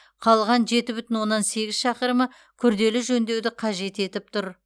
қалған жеті бүтін оннан сегіз шақырымы күрделі жөндеуді қажет етіп тұр